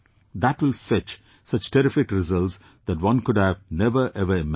That will fetch such terrific results that one could have never ever imagined